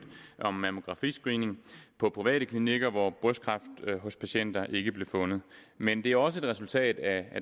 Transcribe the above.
om mammografiscreening på private klinikker hvor brystkræft hos patienter fejlagtigt ikke blev fundet men det er også et resultat af